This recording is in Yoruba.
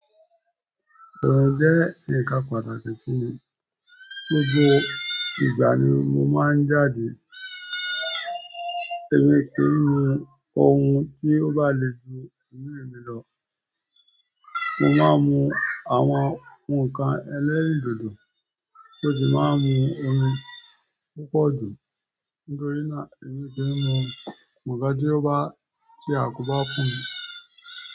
Òòrùn jẹ́ ǹkan pàtàkì sí mi. Gbogbo ìgbà ni mo máa ń jáde, èmi kì í mu ohun tí ó bá le ju emí mi lọ. Mo máa ń mu àwọn ǹkan ẹlẹ́rìndòdò tó ti máa ń mu omi púpọ̀ jù nítorí náà èmi kì í mu nkan ti o bá ti àkobà fùn mí.